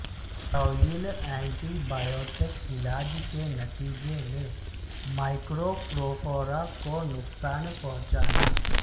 طویل antibiotic علاج کے نتیجے میں مائکروفروفورا کو نقصان پہنچانا